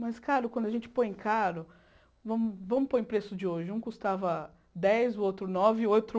Mas caro, quando a gente põe caro, vamos vamos pôr em preço de hoje, um custava dez, o outro nove, e o outro